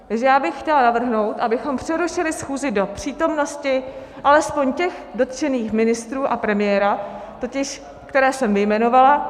Takže já bych chtěla navrhnout, abychom přerušili schůzi do přítomnosti alespoň těch dotčených ministrů a premiéra, totiž které jsem vyjmenovala.